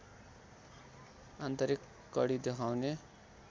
आन्तरिक कडी देखाउने